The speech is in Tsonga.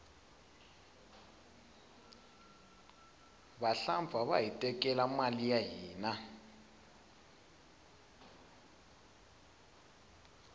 vahlampfa vahi tekela mali ya hina